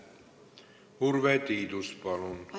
Urve Tiidus, palun!